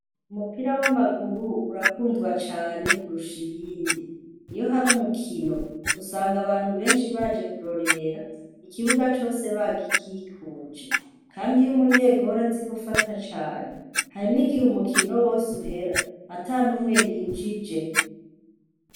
Umupira w'amaguru urakundwa cane kurusha iyindi , iyo hari umukino, usanga abantu benshi baje kurorera , ikibuga cose bagikikuje. Kandi iyo umunyegori azi gufata cane, hari n'igihe umukino wose uhera, atan'umwe yinjije.